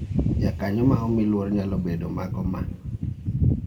Jakanyo ma omi luor nyalo bedo mago ma